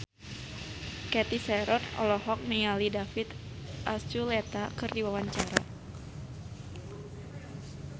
Cathy Sharon olohok ningali David Archuletta keur diwawancara